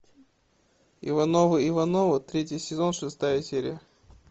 ивановы ивановы третий сезон шестая серия